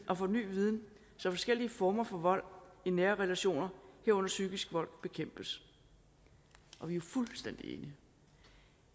og for ny viden så forskellige former for vold i nære relationer herunder psykisk vold bekæmpes og vi er fuldstændig enige